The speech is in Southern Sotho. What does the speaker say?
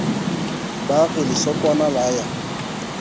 ba re lesokwana la ya